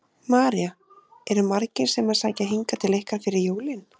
María: Eru margir sem að sækja hingað til ykkar fyrir jólin?